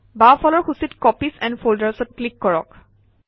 বাওঁফালৰ সূচীত copies and Folders অত ক্লিক কৰক